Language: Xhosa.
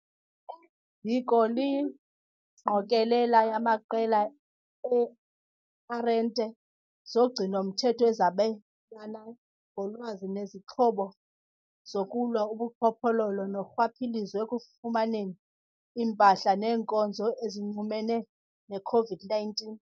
ziko liyingqokelela yamaqela ee-arhente zogcino-mthetho ezabelana ngolwazi nezixhobo zokulwa ubuqhophololo norhwaphilizo ekufumaneni iimpahla neenkonzo ezinxumene ne-COVID-19 .